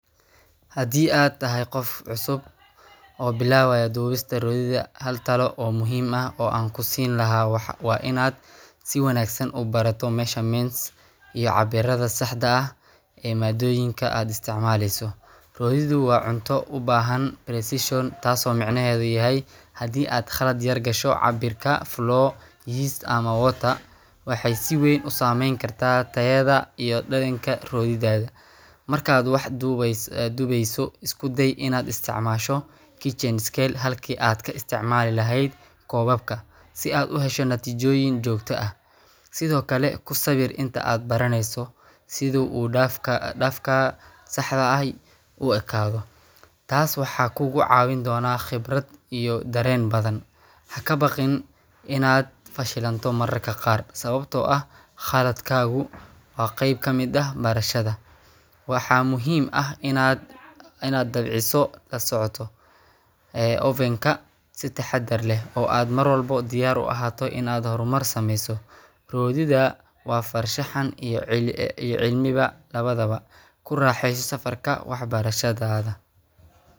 Hadii atahay qof cusub oo bilawaya duwista royidha hal talo ayan kusin laha waa in aad si wanagsan ubarato measurement iyo cabiradha saxda ah ee madoyinka aad isticmaleyso, hooyadu waa cunto u bahan tas oo macnahedhu u yahay hadii aad qalaad yar gasho water ee siweb u sameyni karto iyo dalinka riyodhinka, marka wax duweyso iskude ina istcmasho teachers skel ee laheed kobabka si aad u hesho kobabka natijoyin jogto ah sithokale kusawir inta baraneyso sitha u dafka saxda ahay u ekadho tas waxaa kugu cawin do a daren iyo qibraad badan, hakabaqin in aad fashil mato mar marka qar sawabto ah qaldkagu waa qeeb kamiid ah barashaadadu barashaada waxaa muhiim ah inaad dabciso kasocoto, ee ovenka mar walbo oo diyar u ahato waa farshaxan iyo cilmiba lawadhawa kuraxeyso safarka wax barashaadadha.